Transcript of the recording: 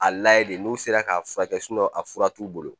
A layɛ de n'u sera k'a furakɛ a fura t'u bolo